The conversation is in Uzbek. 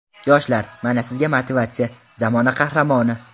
Yoshlar, mana sizga motivatsiya, zamona qahramoni.